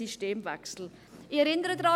Ich erinnere daran: